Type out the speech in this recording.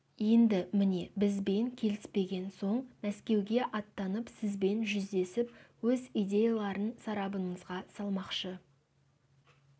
енді міне бізбен келіспеген соң мәскеуге аттанып сізбен жүздесіп өз идеяларын сарабыңызға салмақшы